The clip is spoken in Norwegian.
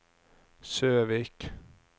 Søvik